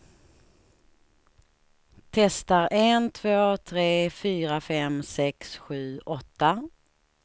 Testar en två tre fyra fem sex sju åtta.